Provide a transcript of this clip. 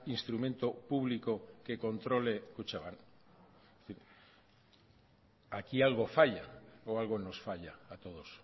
instrumento público que controle kutxabank aquí algo falla o algo nos falla a todos